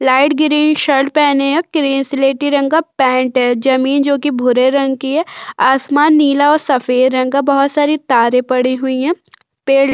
light green shirt पहने या grey सिलेटी रंग का पेंट है जमीन जो कि भूरे रंग की है आसमान नीला और सफेद रंग का बहुत सारी तारे पड़ी हुई है पेड़ --